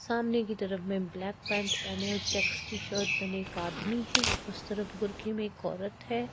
सामने की तरफ में ब्लैक पैंट पहने और चेक्स की शर्ट पहने एक आदमी है उस तरफ बुरखे में एक औरत है।